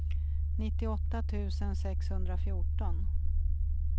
nittioåtta tusen sexhundrafjorton